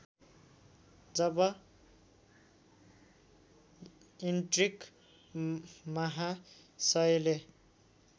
जब ईन्ट्रिक महासयले